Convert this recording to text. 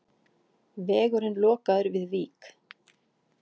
Vegurinn lokaður við Vík